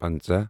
پنٛژاہ